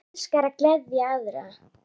Hann elskaði að gleðja aðra.